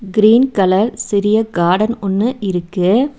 Green colour சிறிய காடன் ஒன்னு இருக்கு.